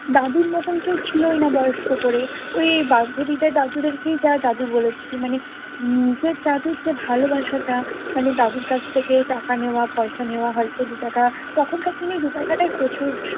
দাদুর মতোন কেউ ছিলই না বয়স্ক করে। ওই বান্ধবীদের দাদুদেরকেই যা দাদু বলেছি। মানে উম নিজের দাদুর যে ভালোবাসাটা মানে দাদুর কাছ থেকে টাকা নেওয়া, পয়সা নেওয়া। হয়তো দু’টাকা। তখনকার দিনে দু’টাকাটাই প্রচুর